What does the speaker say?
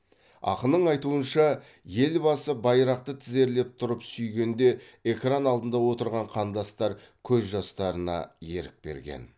ақының айтуынша елбасы байрақты тізерлеп тұрып сүйгенде экран алдында отырған қандастар көз жастарына ерік берген